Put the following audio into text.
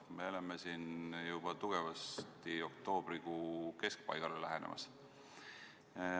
Me oleme siin juba tugevasti oktoobrikuu keskpaigale lähenemas.